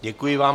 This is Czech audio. Děkuji vám.